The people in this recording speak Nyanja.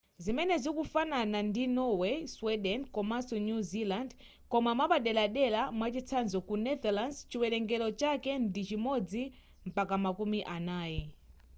zimenezi zikufanana ndi norway sweden komanso new zealand koma mwapaderadera mwachitsanzo ku netherlands chiwelengero chake ndi chimodzi mpaka makumi anayi